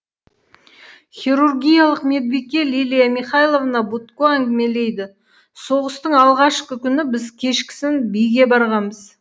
хирургиялық медбике лилия михайловна будко әңгімелейді соғыстың алғашқы күні біз кешкісін биге барғанбыз